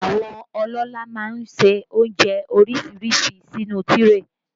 Àwọn ọlọ́lá má ń ṣe oúnjẹ oríṣiríṣi sínú tíréè